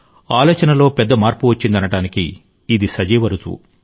ఆలోచనలో పెద్ద మార్పు వచ్చిందనడానికి ఇది సజీవ రుజువు